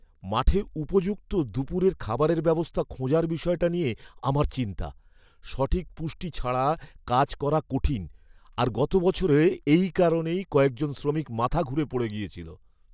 মাঠে উপযুক্ত দুপুরের খাবারের ব্যবস্থা খোঁজার বিষয়টা নিয়ে আমার চিন্তা। সঠিক পুষ্টি ছাড়া কাজ করা কঠিন আর গত বছরে এই কারণেই কয়েকজন শ্রমিক মাথা ঘুরে পড়ে গেছিল!